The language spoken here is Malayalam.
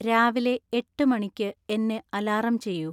രാവിലെ എട്ട് മണിക്ക് എന്നെ അലാറം ചെയ്യൂ